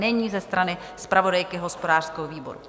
Není, ze strany zpravodajky hospodářského výboru?